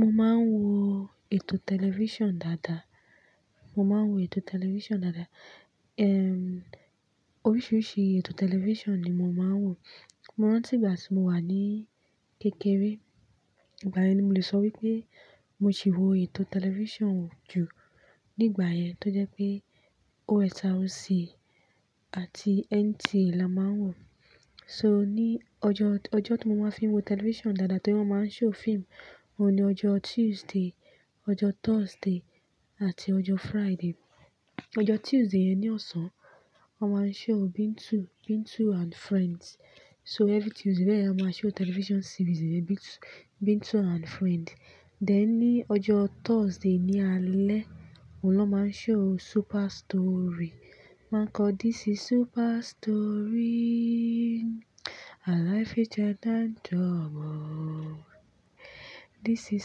Mo máa ń wo ètò tẹlifíṣàn dáadáa. Oríṣiríṣi ètò tẹlifíṣàn ni mo máa ń wò. Mó rántí ìgbà tí mo wà ní kékeré, ìgbà yẹn ni mo le sọ wípé mo ti wò ètò tẹlifíṣàn jù. Nígbà yẹn tó jẹ́ pé OSRC àti NTA la máa ń wò. Ọjọ́ tí mo máa ń fín wo tẹlifíṣàn dáadáa torí wón máa ń ṣe fíìmù ni ọjọ́ Tuesday, ọjọ́ Thursday àti ọjọ́ Friday. Ọjọ́ Tuesday ẹni ọ̀sán, wón máa ń ṣe Bintu and Friends. So every Tuesday ni a máa ń ṣe television series Bintu and Friends. Dẹ̀ ní ọjọ́ Thursday ní alẹ́ ni wón máa ń ṣe Super Story. Wón máa ń kọ "This is Super Story, This is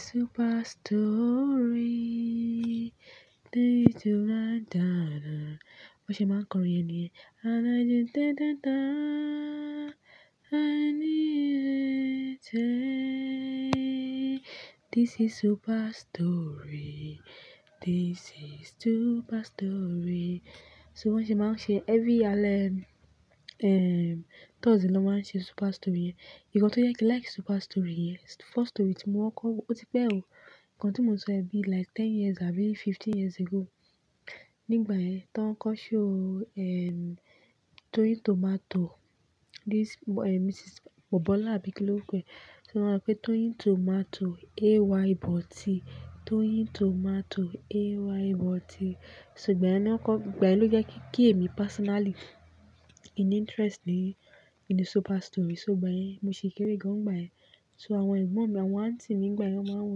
Super Story,. Wọ́n ṣe máa ń kọ orin yeniyẹ́n. This is Super Story, This is Super Story". So wọ́n ṣe máa ń ṣe every alẹ́ Thursday Super Story. Ìdí kan tó jẹ́ pé kí n like Super Story, first story tí mo wọ̀ kọ, ó ti pẹ́ o, ìdí kan tó mú ṣe ẹ́ bí like ten years abi fifteen years ago. Nígbà ẹ́ tó ń kọ ṣe Toyin Tomato, Mrs. Bọ̀bọ́lá àbí kí lẹ ó pé. Wọ́n máa ń pe Toyin Tomato, AY Body. Toyin Tomato, AY Body. Ìgbà yẹn ló jẹ́ kí èmi personally interest ní Super Story. Mo sì kéré gan ìgbà yẹn. Àwọn àǹtí ní ìgbà yẹn wonmáa ń wo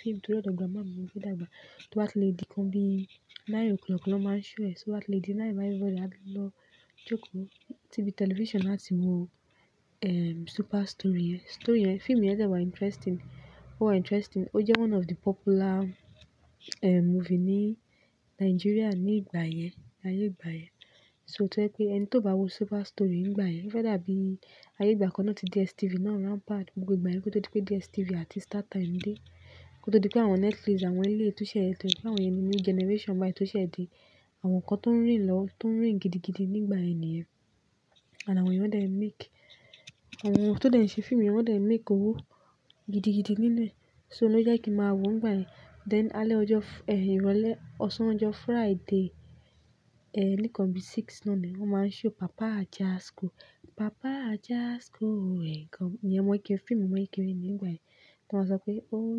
fíìmù tori odo grandma mini mo gbe dagbá. To bati ledi kan bí nine o'clock ló máa ń ṣe ẹ̀. So at lady nine thirty ló jókòó, ti bí tẹlifíṣàn náà tí mo wo Super Story yẹn. Fíìmù yẹn dẹ́ wá interesting. Ó jẹ́ one of the popular movie ní Nàìjíríà nígbà yẹn. Ẹni tó bá wo Super Story nígbà yẹn, ofe dabi ayé ìgbà kan náà tí DSTV náà rampant, gbogbo ìgbà yẹn kò tó pé DSTV àti Startime dé. Kò todi pé àwọn Netflix, àwọn ilé ìtúnṣe ètò, àwọn ènìyàn new generation bà yìí tó ṣẹ̀ de àwọn nǹkan tó ń reìgn gidi gidi nígbà yẹn nìyẹn. Àwọn ènìyàn tó ṣe fíìmù yẹn wọ́n dé ń ṣe make owó gidi gidi nínúe. So lọ́ je kí n máa wò ó nígbà yẹn. Then alẹ́ ọjọ́ ìrọ̀lẹ́, ọ̀sán ọjọ́ Friday ní kan bí mẹ́fà náà ni wón máa ń ṣe Papa Ajasco. Papa Ajasco, ẹ̀ nìkan ìfẹ́ ọmọ kékeré ní ìgbà yẹn. Kí wọ́n máa sọ pé, "Oh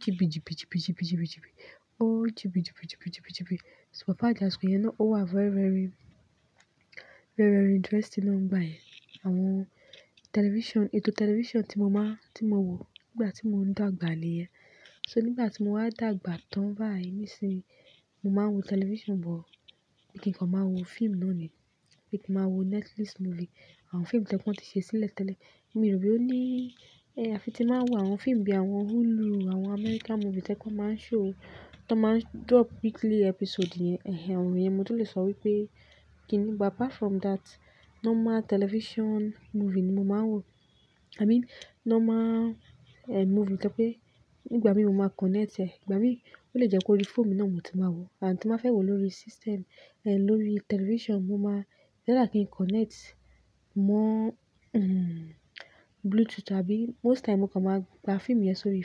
jibijibijibijibiji. Oh jibijibijibijibiji". So Papa Ajasco yẹn náà ó wà very interesting nígbà yẹn. Ètò tẹlifíṣàn tí mo máa wò nígbà tí mò ń dàgbà ni yẹ́. Nígbà tí mo wá dàgbà tán báyìí mi sìn-ín, mo máa ń wo tẹlifíṣàn, but ìkìkan màá wo fíìmù náà ni. Bí i kí màá wo Netflix movie, àwọn fíìmù tí wọ́n ti ṣe sílẹ̀ tẹ́lẹ̀. Mi ò rò pé ó ní-- afi ti máa wo àwọn fíìmù bíi àwọn Hulu, àwọn American movie tí wọ́n máa ń ṣe, tí wọ́n máa ń drop weekly episode. Àwọn wonyen mi ò tó lè sọ wípé kí ni. But apart from that, normal television movie ni mo máa ń wò. I mean normal movie tó pé nígbà mí mo máa connect e, ìgbà mí ó lè jẹ́ kó rí fíìmù náà mo ti máa wò àti tí mo fẹ́ wò lórí system, lórí tẹlifíṣàn mo máa rántí kí n connect mọ bluetooth. Most time mo kàn máa gba fíìmù yẹn sórí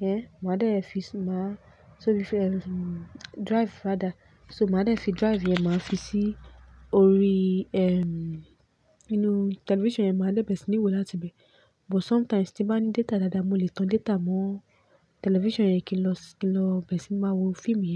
drive, mo á dà ẹ́ fi drive yẹn máa fi sí orí tẹlifíṣàn yẹn, má dẹ bẹ́rẹ̀ sí ní wò láti ibẹ̀. But sometimes tí bá ní data dáadáa, mo lè tan data mọ tẹlifíṣàn yẹn kí lọ bẹ́ẹ̀ sí máa wo fíìmù.